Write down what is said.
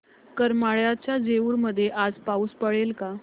करमाळ्याच्या जेऊर मध्ये आज पाऊस पडेल का